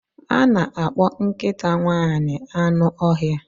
A na-akpọ nkịta nwanyị anụ ọhịa.